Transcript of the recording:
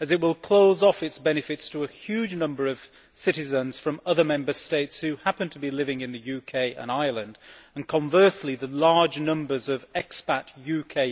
as it will close off its benefits to a huge number of citizens from other Member States who happen to be living in the UK and Ireland, and conversely the large numbers of expat UK